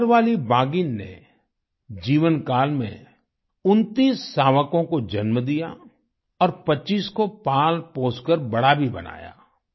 collar वाली बाघिन ने जीवनकाल में 29 शावकों को जन्म दिया और 25 को पालपोसकर बड़ा भी बनाया